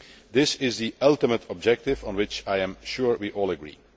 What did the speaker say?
This is the ultimate objective, on which I am sure we all agree.